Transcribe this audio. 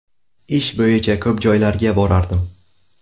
Ish bo‘yicha ko‘p joylarga borardim.